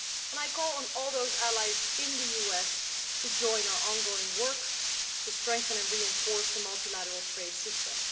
I call on all those allies in the US to join our ongoing work to strengthen and reinforce the multilateral trade system.